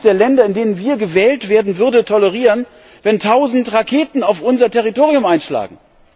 Keines der Länder, in denen wir gewählt werden, würde tolerieren, wenn tausend Raketen auf unser Territorium einschlagen!